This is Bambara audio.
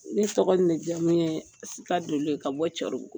Ni tɔgɔ jamu ye ye ka bɔ cɛro